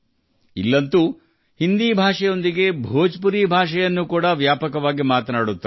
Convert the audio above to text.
ಇಲ್ಲಿ ಹಿಂದಿ ಜತೆಗೆ ಭೋಜ್ಪುರಿಯನ್ನೂ ವ್ಯಾಪಕವಾಗಿ ಮಾತನಾಡುತ್ತಾರೆ